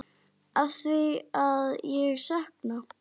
Afþvíað ég sakna.